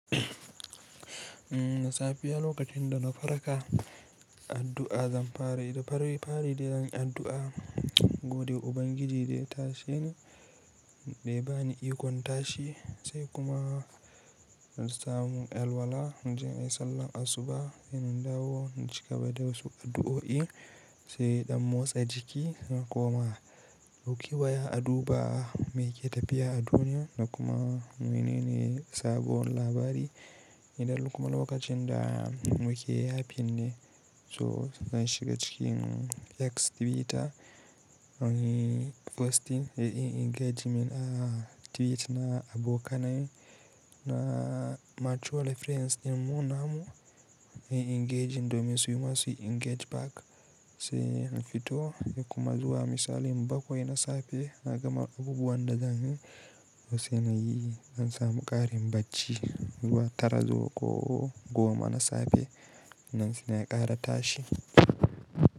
Da safiya lokacin da na farka, addu'a zan fara. Idan faraye ya fara deyin addu'a, gode Ubangiji da ya tashe ni, da ya bani ikon tashi sai kuma in samu elwala, in je in yi sallar asuba, sai na dawo in cigaba da wasu addu'o'i, sai in motsa jiki, na koma dauki waya, a duba me ke tafiya a duniya da kuma menene sabuwar labari. Idan kuma lokacin da muke ya finne, to zan shiga cikin X Twitter, nayi posting, inyi engagement a tweet na abokanai na mutual friends, in mu namu, muyi engaging domin su kuma su engage back sai in fito. Sai kuma zuwa misali in bakwai na safe, na gama abubuwan da zan yi, sai na yi, in samu ƙarin bacci zuwa tara ko goma na safe, nan suna ƙara tashi.